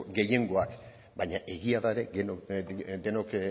gehiengoak baina egia da ere denok